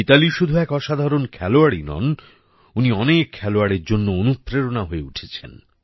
মিতালী শুধু এক অসাধারণ খেলোয়াড়ই নয় উনি অনেক খেলোয়াড়ের জন্য অনুপ্রেরণা হয়ে উঠেছেন